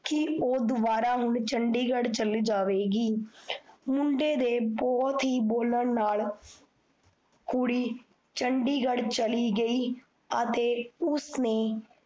ਕੀ ਓਹ ਦੋਬਾਰਾ ਹੁਣ ਚੰਡੀਗੜ ਚੱਲ ਜਾਵੇਗੀ। ਮੁੰਡੇ ਦੇ ਬਹੁਤ ਹੀ ਬੋਲਣ ਨਾਲ ਕੁੜੀ ਚੰਡੀਗੜ ਚਲੀ ਗਈ, ਅਤੇ ਉਸਨੇ